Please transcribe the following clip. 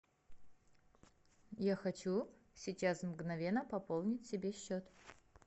я хочу сейчас мгновенно пополнить себе счет